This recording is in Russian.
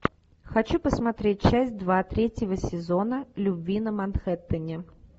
хочу посмотреть часть два третьего сезона любви на манхеттене